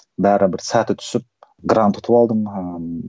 бәрібір сәті түсіп грант ұтып алдым ыыы